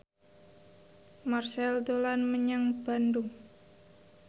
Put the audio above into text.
Marchell dolan menyang Bandung